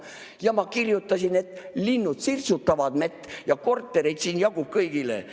Ja ma kirjutasin, et linnud sirtsutavad mett ja ka kortereid siin jätkub kõigile.